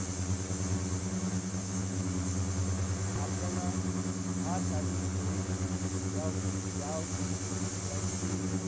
आपल्याला भात आणि पोळी या या यांची